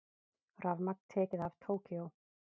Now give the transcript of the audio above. Rafmagn tekið af Tókýó